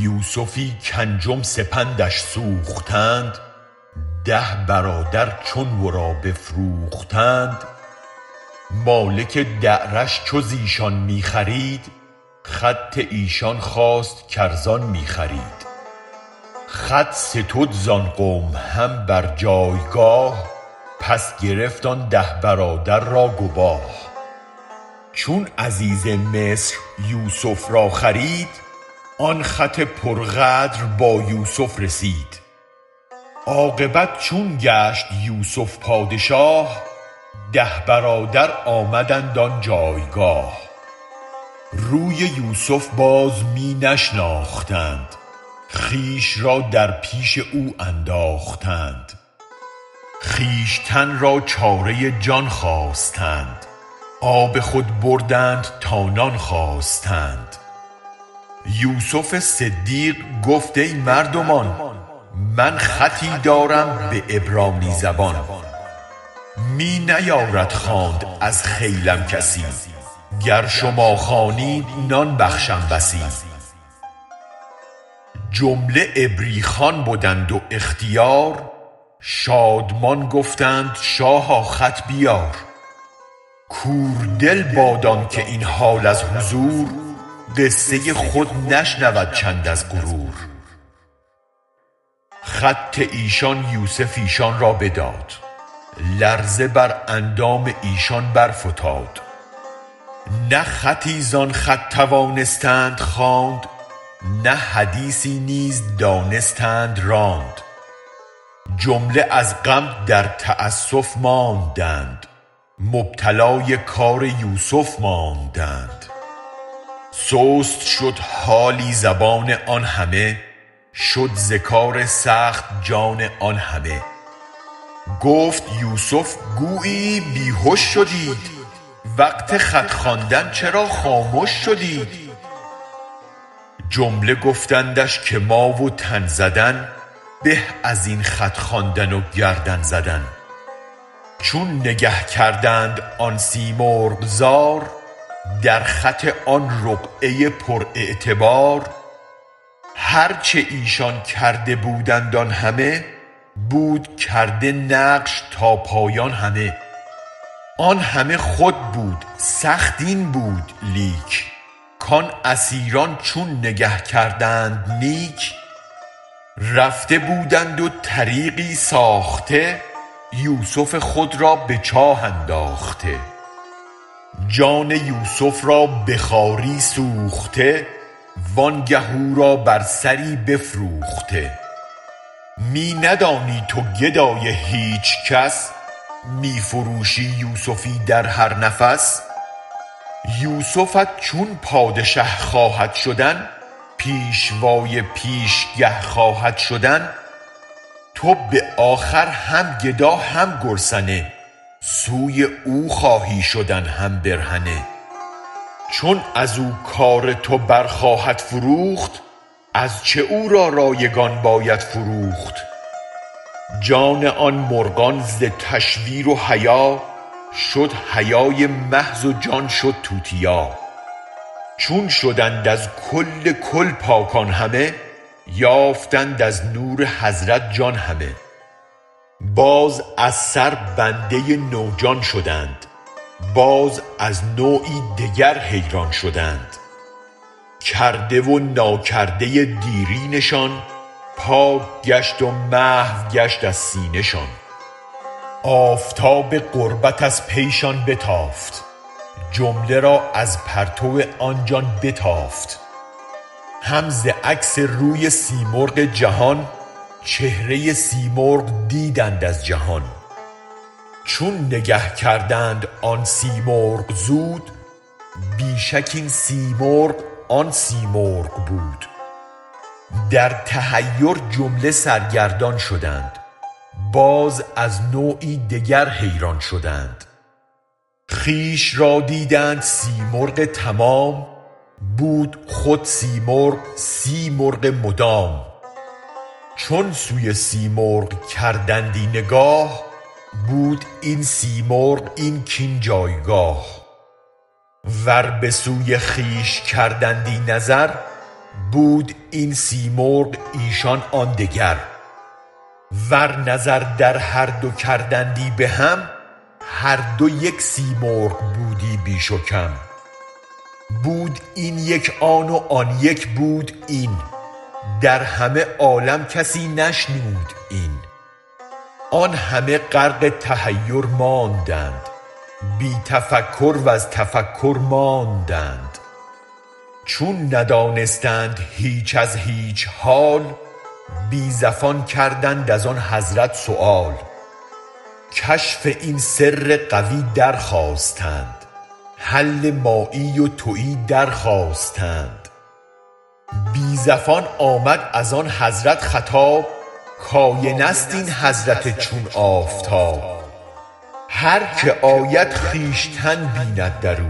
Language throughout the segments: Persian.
یوسفی کانجم سپندش سوختند ده برادر چون ورا بفروختند مالک دعرش چو زیشان می خرید خط ایشان خواست کار زان می خرید خط ستد زان قوم هم بر جایگاه پس گرفت آن ده برادر را گواه چون عزیز مصر یوسف را خرید آن خط پر غدر با یوسف رسید عاقبت چون گشت یوسف پادشاه ده برادر آمدند آن جایگاه روی یوسف باز می نشناختند خویش را در پیش او انداختند خویشتن را چاره جان خواستند آب خود بردند تا نان خواستند یوسف صدیق گفت ای مردمان من خطی دارم به عبرانی زبان می نیارد خواند از خیلم کسی گر شما خوانید نان بخشم بسی جمله عبری خوان بدند واختیار شادمان گفتند شاها خط بیار کور دل باد آنک این حال از حضور قصه خود نشنود چند از غرور خط ایشان یوسف ایشان را بداد لرزه بر اندام ایشان برفتاد نه خطی زان خط توانستند خواند نه حدیثی نیز دانستند راند جمله از غم در تأسف ماندند مبتلای کار یوسف ماندند سست شد حالی زبان آن همه شد ز کار سخت جان آن همه گفت یوسف گوییی بی هش شدید وقت خط خواندن چرا خامش شدید جمله گفتندش که ما و تن زدن به ازین خط خواندن و گردن زدن چون نگه کردند آن سی مرغ زار در خط آن رقعه پر اعتبار هرچ ایشان کرده بودند آن همه بود کرده نقش تا پایان همه آن همه خود بود سخت این بود لیک کان اسیران چون نگه کردند نیک رفته بودند و طریقی ساخته یوسف خود را به چاه انداخته جان یوسف را به خواری سوخته وانگه او را بر سری بفروخته می ندانی تو گدای هیچ کس می فروشی یوسفی در هر نفس یوسفت چون پادشه خواهد شدن پیشوای پیشگه خواهد شدن تو به آخر هم گدا هم گرسنه سوی او خواهی شدن هم برهنه چون از و کار تو بر خواهد فروخت از چه او را رایگان باید فروخت جان آن مرغان ز تشویر و حیا شد حیای محض و جان شد توتیا چون شدند از کل کل پاک آن همه یافتند از نور حضرت جان همه باز از سر بنده نو جان شدند باز از نوعی دگر حیران شدند کرده و ناکرده دیرینه شان پاک گشت و محو گشت از سینه شان آفتاب قربت از پیشان بتافت جمله را از پرتو آن جان بتافت هم ز عکس روی سیمرغ جهان چهره سیمرغ دیدند از جهان چون نگه کردند آن سی مرغ زود بی شک این سی مرغ آن سیمرغ بود در تحیر جمله سرگردان شدند باز از نوعی دگر حیران شدند خویش را دیدند سیمرغ تمام بود خود سیمرغ سی مرغ مدام چون سوی سیمرغ کردندی نگاه بود این سیمرغ این کین جایگاه ور بسوی خویش کردندی نظر بود این سیمرغ ایشان آن دگر ور نظر در هر دو کردندی بهم هر دو یک سیمرغ بودی بیش و کم بود این یک آن و آن یک بود این در همه عالم کسی نشنود این آن همه غرق تحیر ماندند بی تفکر وز تفکر ماندند چون ندانستند هیچ از هیچ حال بی زفان کردند از آن حضرت سؤال کشف این سر قوی در خواستند حل مایی و توی درخواستند بی زفان آمد از آن حضرت خطاب کاینه ست این حضرت چون آفتاب هر که آید خویشتن بیند درو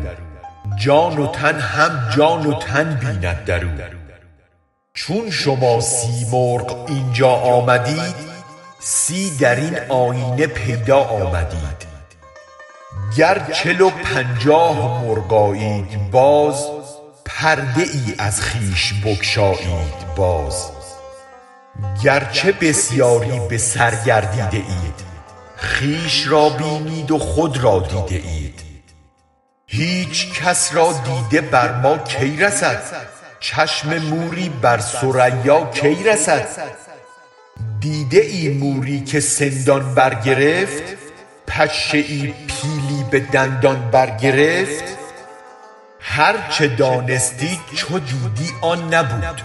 جان و تن هم جان و تن بیند درو چون شما سی مرغ اینجا آمدید سی درین آیینه پیدا آمدید گر چل و پنجاه مرغ آیید باز پرده ای از خویش بگشایید باز گرچه بسیاری به سر گردیده اید خویش را بینید و خود را دیده اید هیچ کس را دیده بر ما کی رسد چشم موری بر ثریا کی رسد دیده ای موری که سندان برگرفت پشه پیلی به دندان برگرفت هرچ دانستی چو دیدی آن نبود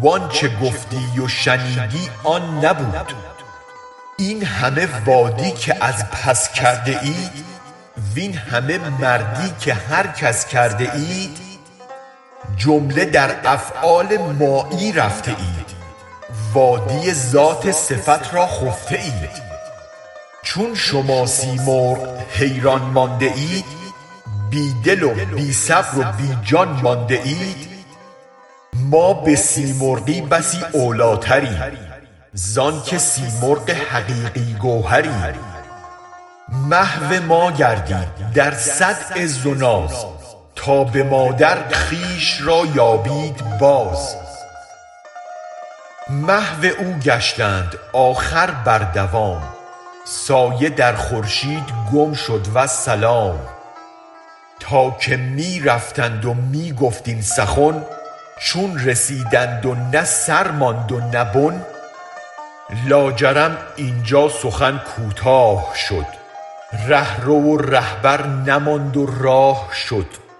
و آنچ گفتی و شنیدی آن نبود این همه وادی که از پس کرده اید وین همه مردی که هر کس کرده اید جمله در افعال مایی رفته اید وادی ذات صفت را خفته اید چون شما سی مرغ حیران مانده اید بی دل و بی صبر و بی جان مانده اید ما به سیمرغی بسی اولیتریم زانک سیمرغ حقیقی گوهریم محو ما گردید در صد عز و ناز تا به ما در خویش را یابید باز محو او گشتند آخر بر دوام سایه در خورشید گم شد والسلام تا که می رفتند و می گفت این سخن چون رسیدند و نه سر ماند و نه بن لاجرم اینجا سخن کوتاه شد ره رو و رهبر نماند و راه شد